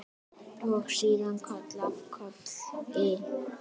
Og síðan koll af kolli.